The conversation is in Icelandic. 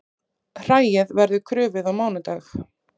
Hræið verður krufið á mánudag